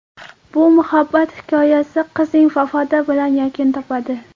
Bu muhabbat hikoyasi qizning vafoti bilan yakun topadi.